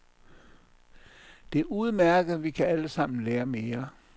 Det er udmærket, vi kan alle sammen lære mere.